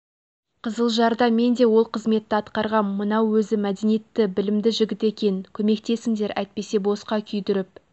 қызылжарда мен де ол қызметті атқарғам мынау өзі мәдениетті білімді жігіт екен көмектесіңдер әйтпесе босқа күйдіріп